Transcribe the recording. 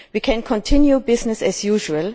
We can continue business as usual